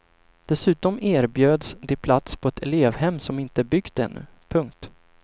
Dessutom erbjöds de plats på ett elevhem som inte är byggt ännu. punkt